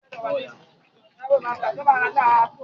Bisi lọ ra ògùn ibà